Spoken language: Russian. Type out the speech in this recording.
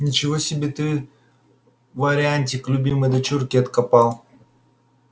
ничего себе ты вариантик любимой дочурке откопал